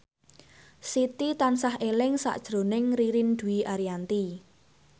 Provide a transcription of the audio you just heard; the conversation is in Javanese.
Siti tansah eling sakjroning Ririn Dwi Ariyanti